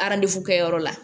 kɛyɔrɔ la